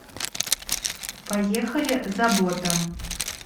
поехали забота